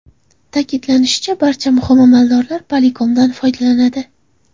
Ta’kidlanishicha, barcha muhim amaldorlar Polycom’dan foydalanadi.